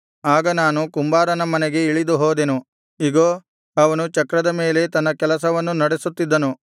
ಆಗ ನಾನು ಕುಂಬಾರನ ಮನೆಗೆ ಇಳಿದು ಹೋದೆನು ಇಗೋ ಅವನು ಚಕ್ರದ ಮೇಲೆ ತನ್ನ ಕೆಲಸವನ್ನು ನಡೆಸುತ್ತಿದ್ದನು